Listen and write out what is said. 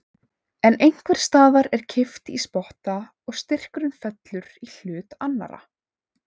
En einhvers staðar er kippt í spotta og styrkurinn fellur í hlut annarrar.